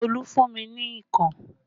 Olu fún mi ní ikàn